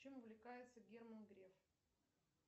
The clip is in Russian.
чем увлекается герман греф